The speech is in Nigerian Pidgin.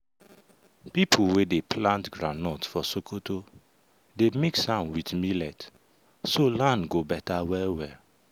people wey dey plant groundnut for sokoto dey mix am with millet so land go better well well.